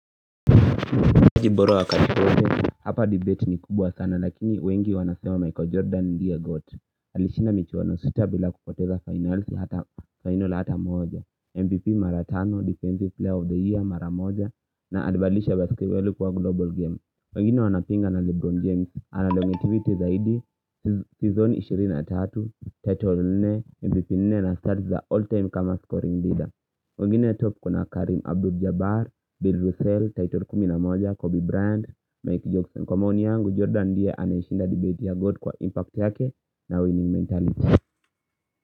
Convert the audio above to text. Jiboro wakati wote Hapa debate ni kubwa sana lakini wengi wanasewa Michael Jordan ndia goat Alishinda mechi 106 bila kupoteza final hata final hata moja MVP maratano, Defensive Player of the Year mara moja na alibadilisha basketball kuwa global game wengine wanapinga na Lebron James Analongativity zaidi, Season 23, Title 4, MVP 4 na starts za all time kama scoring leader wengine top kuna Karim Abdul Jabbar, Bill Russell, Title 11, Kobe Bryant, Mike Johnson Kwa maoni yangu, Jordan ndiye anayeshinda debate ya goli kwa impact yake na winning mentality.